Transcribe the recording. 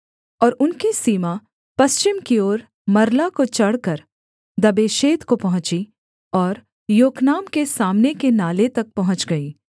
और उनकी सीमा पश्चिम की ओर मरला को चढ़कर दब्बेशेत को पहुँची और योकनाम के सामने के नाले तक पहुँच गई